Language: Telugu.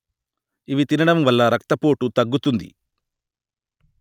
ఇవి తినడం వల్ల రక్తపోటు తగ్గుతుంది